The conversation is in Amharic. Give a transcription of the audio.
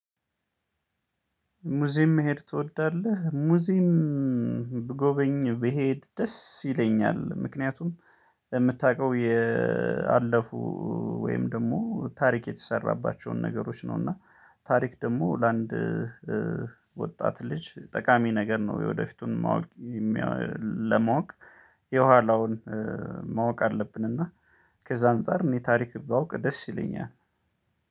ሙዚም መሄድ ትወዳለህ? ሙዚም ብጎበኝ ብሄድ ደስ ይለኛል። ምክንያቱም የምታውቀው ያለፉ ወይም ደግሞ ታሪክ የተሰራባቸውን ነገሮች ነው። እና ታሪክ ደግሞ ለአንድ ወጣት ልጅ ጠቃሚ ነገር ነው። የወደፊቱን ማወቅ ለማወቅ የኋላውን ማወቅ አለብን። እና ከዛ አንፃር እኔ ታሪክ ባውቅ ደስ ይለኛል